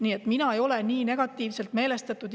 Nii et mina ei ole nii negatiivselt meelestatud.